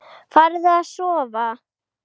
Farðu að sofa.